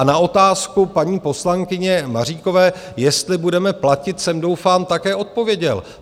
A na otázku paní poslankyně Maříkové, jestli budeme platit, jsem, doufám, také odpověděl.